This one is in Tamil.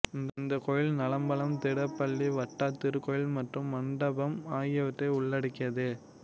இந்த கோயில் நாலம்பலம் திடப்பள்ளி வட்டா திருக்கோயில் மற்றும் மண்டபம் ஆகியவற்றை உள்ளடக்கியது